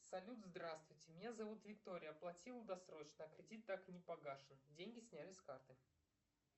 салют здравствуйте меня зовут виктория оплатила досрочно а кредит так и не погашен деньги сняли с карты